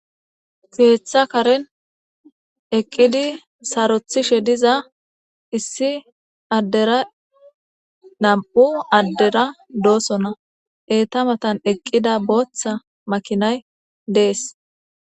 Keththa karen eeqiddi saarothtishe diza issi addera nam'u addera dosonna eettadan eeqida boththa maakinay dees.